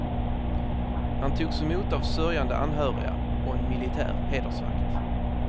Han togs emot av sörjande anhöriga och en militär hedersvakt.